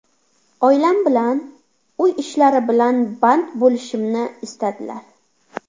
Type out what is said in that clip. Oilam bilan, uy ishlari bilan band bo‘lishimni istadilar.